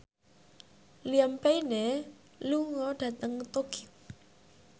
Liam Payne lunga dhateng Tokyo